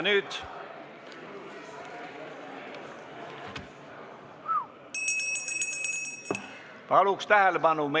Nüüd palun tähelepanu!